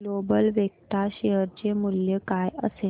global Vectra share चे मूल्य काय असेल